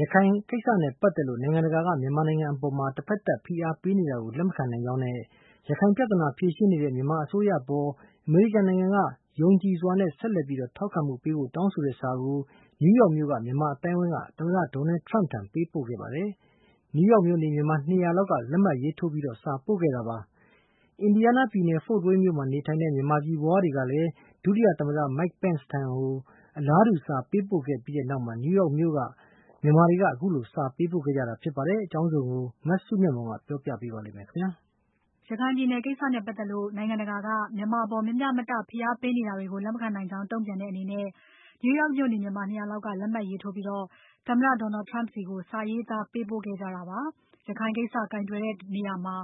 ရခိုင်ကိစ္စနဲ့ပတ်သက်လို့ နိုင်ငံတကာက မြန်မာနိုင်ငံအပေါ် တဖက်သတ် ဖိအားပေးနေတာကို လက်မခံနိုင်တဲ့အကြောင်းနဲ့ ရခိုင်ပြဿနာဖြေရှင်းနေတဲ့ မြန်မာအစိုးရအပေါ် အမေရိကန်နိုင်ငံက ယုံကြည်စွာနဲ့ ဆက်လက်ထောက်ခံမှုပြဖို့ တောင်းဆိုတဲ့စာကို New York မြို့က မြန်မာအသိုင်းအဝိုင်းက သမ္မတ Donald Trump ကိုပေးပို့ခဲ့ပါတယ်။ New York မြို့နေ မြန်မာ ၂၀၀ လောက်က လက်မှတ်ရေးထိုးစာပို့ခဲ့တာပါ။ Indiana ပြည်နယ် Fort Wayne မြို့မှာနေထိုင်တဲ့ မြန်မာပြည်ဖွားတွေက ဒုသမ္မတ Mike Pence ဆီကို အလားတူစာပေးပို့ခဲ့ပြီးနောက်မှာ New York မြို့ကမြန်မာတွေက ခုလိုစာပို့ခဲ့ကြတာပါ။ အကြောင်းစုံကို မစုမြတ်မွန်က ဆက်ပြီးပြောပြပါမယ်။ ရခိုင်ပြည်နယ်ကိစ္စနဲ့ပတ်သက်လို့ နိုင်ငံတကာက မြန်မာအပေါ် မမျှမတ ဖိအားပေးနေတာတွေကို လက်မခံနိုင်ကြောင်း တုံ့ပြန်တဲ့အနေနဲ့ New York မြို့နေ မြန်မာ ၂၀၀ လောက်က လက်မှတ်ရေးထိုးပြီး သမ္မတ Donald Trump ဆီကို စာရေးသားပေးပို့ခဲ့ကြတာပါ။ ရခိုင်ကိစ္စကိုင်တွယ်တဲ့နေရာမှာ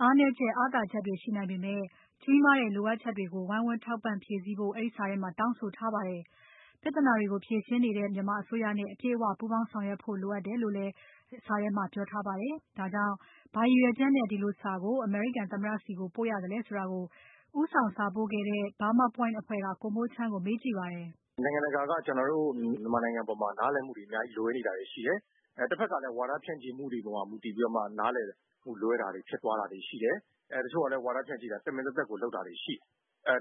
အားနည်းချက် အားသာချက်တွေရှိနိုင်ပေမဲ့ ကြီးမားတဲ့လိုအပ်ချက်တွေကို ဝိုင်းဝန်း ထောက်ပံ့ဖြည့်စည်းဖို့ အဲဒီစာထဲမှာ တောင်းဆိုထားပါတယ်။ ပြဿနာတွေကို ဖြေရှင်းနေတဲ့ မြန်မာအစိုးရနဲ့ အပြည့်အဝပူးပေါင်းဆောင်ရွက်ဖို့လိုအပ်တယ်လို့လည်း အဲဒီစာထဲမှာ ပြောထားပါတယ်။ ဒါကြောင့် ဘာရည်ရွယ်ချက်နဲ့ ဒီလိုစာကို အမေရိကန်သမ္မတဆီကို ပို့ရသလဲဆိုတာကို ဦးဆောင်စာပို့ခဲ့တဲ့ Burma Point အဖွဲ့က ကိုမိုးချမ်းကို မေးကြည့်ပါတယ်။ "နိုင်ငံတကာက ကျနော်တို့မြန်မာနိုင်ငံအပေါ်မှာ နားလည်မှုတွေအများကြီးလွဲနေတာရှိတယ်။ တဖက်က ဝါဒဖြန့်မှုတွေအပေါ်မှာ မူတည်ပြီးမှ နားလည်မှုလွဲတာတွေရှိတယ်။ တချို့ကလည်း ဝါဒဖြန့်မှုတွေတမင်လုပ်ထားတာရှိတယ်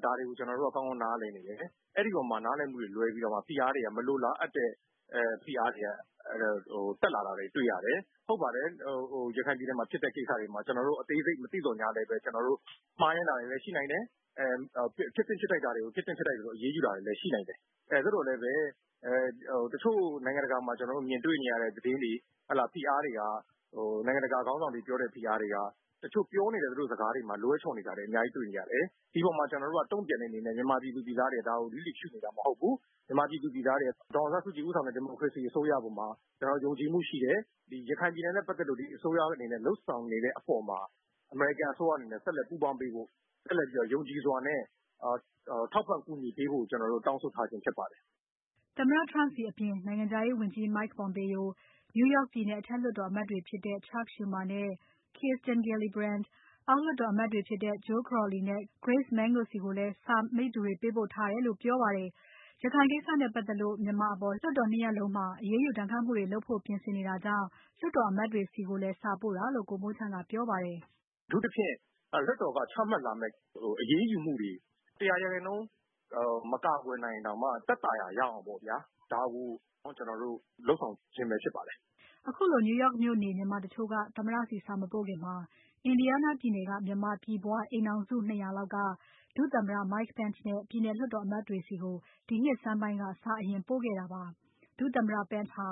။ ဒါတွေကို ကျနော်တို့က ကောင်းကောင်းနားလည်တယ် ။ အဲဒီအပေါ်မှာ နားလည်မူတွေလွဲပြီးတော့ ဖိအားတွေ မလိုတဲ့ဖိအားတွေ တက်လာတာတွေကိုတွေ့ရတယ်။ ရခိုင်ပြည်နယ်မှာ ဖြစ်တဲ့ကိစ္စတွေမှာ ကျနော်တို့ အသေးစိတ်မသိရသော်လည်း မှားယွင်းတာတွေလည်းရှိနိုင်တယ် ဖြစ်သင့်ဖြစ်ထိုက်တာတွေကို ဖြစ်သင့်ဖြစ်ထိုက်သလို အရေးယူတာတွေလည်းရှိတယ်။ ဒါပေမယ့်လည်း တချို့နိုင်ငံတကာမှာ ကျနော်တို့မြင်တွေ့နေရတဲ့သတင်းတွေ နိုင်ငံတကာခေါင်းဆောင်တွေ ပြောတဲ့ ဖိအားတွေက တချို့ပြောတာတွေမှာ လွဲချော်နေတာတွေအများကြီးတွေ့ရတယ်။ ကျနော်တို့က တုံ့ပြန်တဲ့အနေနဲ့ မြန်မာပြည်သားတွေက လစ်လျူရှု့နေတာမဟုတ်ဘူး။ ့ မြန်မာပြည်သားတွေက ဒေါ်အောင်ဆန်းစုကြည်ဦးဆောင်တဲ့ ဒီမိုကရေစီ အစိုးရအပေါ်မှာ ကျနော်တို့ ယုံကြည်မှုရှိတယ်။ ရခိုင်ပြည်နယ်နဲ့ ပတ်သက်လို့ အစိုးရအနေနဲ့ လုပ်ဆောင်နေတဲ့အပေါ်မှာ အမေရိကန်အစိုးရအနေနဲ့ ဆက်လက်ပူးပေါင်းပေးဖို့ ၊ ထောက်ပံ့ကူညီပေးဖို့ ကျနော်တို့တောင်းဆိုပါတယ်။" သမ္မတ Trump ဆီအပြင် နိုင်ငံခြားရေးဝန်ကြီး Mike Pompeo။ New York ပြည်နယ်အထက်လွှတ်တော်အမတ်တွေဖြစ်တဲ့ Chuck Schumer နဲ့ Kirsten Gillibrand အောက်လွှတ်တော်အမတ်တွေဖြစ်တဲ့ Joe Crowley နဲ့ Grace Meng တို့ဆီကိုလည်း စာမိတ္တူတွေပို့ထားတယ်လို့ ပြောပါတယ်။ ရခိုင်ကိစ္စနဲ့ပတ်သက်လို့ မြန်မာအပေါ် လွှတ်တော် ၂ ရပ်လုံးမှာ အရေးယူဒဏ်ခတ်မှုတွေ လုပ်ဖို့ ပြင်ဆင်နေတာကြောင့် လွှတ်တော်အမတ်တွေဆီကိုလည်း စာပို့တာလို့ ကိုမိုးချမ်းကပြောပါတယ်။ "အထူးသဖြင့် လွှတ်တော်က ချမှတ်လာမယ့် အရေးယူမှုတွေ ၁၀၀ ရာခိုင်နှုန်းမကူညီနိုင်ရင်တောင်မှ သက်သာရာရဖို့ လုပ်ဆောင်ချင်းဖြစ်ပါတယ်။" ခုလို New York မြို့နေ မြန်မာတချို့က သမ္မတဆီစာ မပို့ခင် Indiana ပြည်နယ်က မြန်မာပြည်ဖွား အိမ်ထောင်စု ၂၀၀ လောက် ဒုသမ္မတ Mike Pence နဲ့ ပြည်နယ်လွှတ်အမတ်တွေဆီကို ဒီနှစ်ဆန်းပိုင်းက စာအရင်ပို့ခဲ့တာဖြစ်ပါတယ်။ ဒုသမ္မတ Pence ဟာ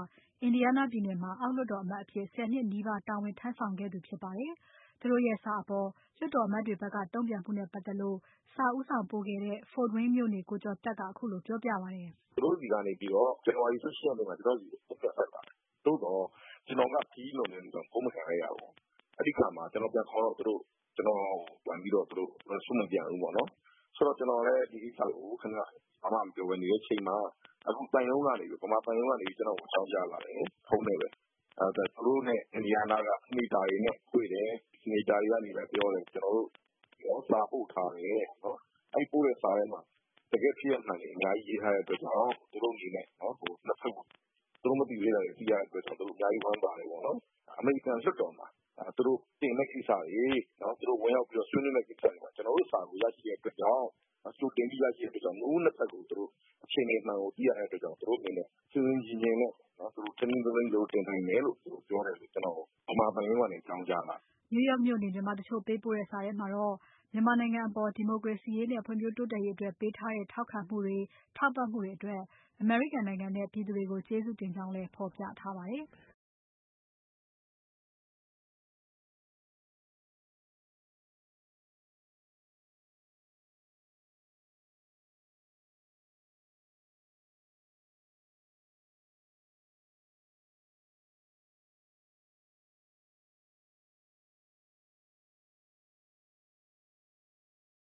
Indiana ပြည်နယ်မှာ အောက်လွှတ်တော်အမတ်အဖြစ် ၁၀ နှစ်နီးပါးတာဝန်ထမ်းဆောင်ခဲ့သူဖြစ်ပါတယ်။ သူတို့စာအပေါ် လွှတ်တော်အမတ်တွေဖက်က တုံ့ပြန်မှုနဲ့ပတ်သက်လို့ စာဦးဆောင်ပို့ခဲ့တဲ့ Fort Wayne မြို့နေ ကိုကျော်သက်က ခုလိုပြောပြပါတယ်။ "သူတို့ဆီကနေပြီးတော့ January ၁၈ ရက်နေ့မှာ ကျနော့်ဆီကို ဖုန်းဆက်ပါတယ်။ သို့သော် ကျနော်က ခရီးလွန်နေတဲ့အတွက်ကြောင့် ဖုန်းမကိုင်လိုက်ရပါဘူး။ ပြန်ခေါ်တော့ သူတို့ ကျနော့်ကို response မပြန်ဘူးပေါ့နော်။ ဆိုတော့ ဒီကိစ္စကို ကျနော်လည်း ဘာမှ မပြောပဲ နေတဲ့အချိန်မှာ မြန်မာသံရုံးကနေပြီးတော့ ကျနော့်ကိုအကြောင်းကြားလာတယ်။ သူတို့နဲ့ Indiana က senator တွေနဲ့တွေ့တယ်။ senatorတွေကပြောတယ် ကျနော်တို့ကို စာပို့ထားတယ်။ အဲဒီစာထဲမှာ တကယ့်ဖြစ်ရပ်မှန်တွေအများကြီးရေးထားတဲ့အတွက်ကြောင့် သူတို့မသိရသေးတာတွေ သိရတဲ့အတွက် ဝမ်းသာတယ်ပေါ့နော် အမေရိကန်လွှတ်တော်မှာ ဝင်ရောက်ပြီးတော့ဆွေးနွေးမယ့် ကိစ္စတွေမှာ ကျနော်တို့စာကို ကြိုတင်ပြီးတော့ ရရှိတဲ့အတွက်ကြောင့် ၂ ဖက်အခြေအနေမှန်ကိုသိရတဲ့အတွက်ကြောင့် သူတို့အနေနဲ့ ဆင်ဆင်ချင်ချင်နဲ့ တင်နိုင်တယ်လို့ ကျနော်ကိုပြောတယ် မြန်မာသံရုံးကနေ အကြောင်းကြားလာတာပါ။" New York မြို့နေ မြန်မာတချို့ပေးပို့တဲ့စာထဲမှာ မြန်မာနိုင်ငံအပေါ် ဒီမိုကရေစီရေးနဲ့ ဖွံ့ဖြိုးတိုးတက်ရေးအတွက် ပေးထားတဲ့ ထောက်ခံမှုတွေ ထောက်ပံ့မှုတွေအတွက် အမေရိကန်နိုင်ငံနဲ့ ပြည်သူတွေကို ကျေးဇူးတင်ကြောင်းလည်း ဖော်ပြထားပါတယ်။